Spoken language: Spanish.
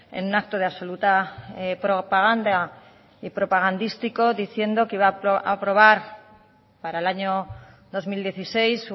en un acto de absoluta propaganda y propagandístico diciendo que va a aprobar para el año dos mil dieciséis